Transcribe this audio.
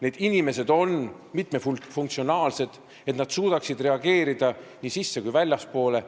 Need inimesed on mitmefunktsionaalsed, nad suudavad reageerida nii sisse- kui ka väljapoole.